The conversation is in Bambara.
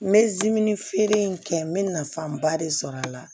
N bɛ zime feere in kɛ n bɛ nafanba de sɔrɔ a la